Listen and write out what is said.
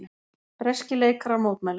Breskir leikarar mótmæla